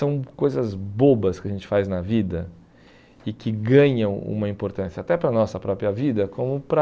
São coisas bobas que a gente faz na vida e que ganham uma importância até para a nossa própria vida, como para...